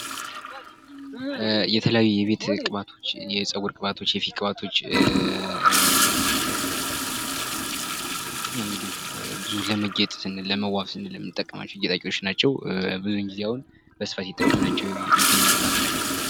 የተለያዩ የቤት ቅባቶች የጸጉር ቅባቶች የፊት ቅባቶች እንግዲህ ብዙ ለመጌጥ ስንል ለመዋብ ስንል የምንጠቀማቸው ጌጣጌጦች ናቸዉ ብዙውን ጊዜ አሁን በስፋት እየተጠቀምናቸው ይገኛሉ በሀገራችን።